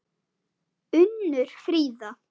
Unnur Fríða.